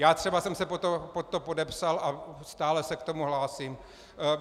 Já třeba jsem se pod to podepsal a stále se k tomu hlásím.